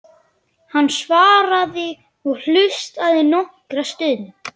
Hann svaraði og hlustaði nokkra stund.